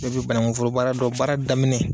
Bɛɛ bɛ banaku foro baara dɔn, baara daminɛ,